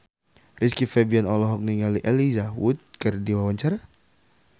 Rizky Febian olohok ningali Elijah Wood keur diwawancara